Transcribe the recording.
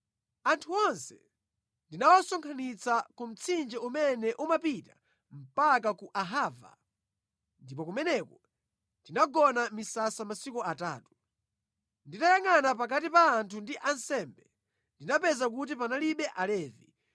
Anthu onse ndinawasonkhanitsa ku mtsinje umene umapita mpaka ku Ahava, ndipo kumeneko tinagona mʼmisasa masiku atatu. Nditayangʼana pakati pa anthu ndi ansembe, ndinapeza kuti panalibe Alevi.